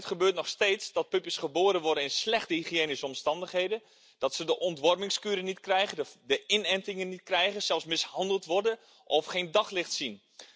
Het gebeurt nog steeds dat puppy's geboren worden in slechte hygiënische omstandigheden, dat ze de ontwormingskuren niet krijgen, de inentingen niet krijgen, zelfs mishandeld worden of geen daglicht zien.